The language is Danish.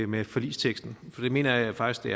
med forligsteksten for det mener jeg faktisk det